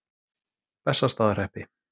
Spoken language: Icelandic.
Bessastaðahreppi